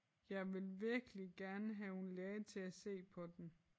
Jeg vil virkelig gerne have en læge til at se på den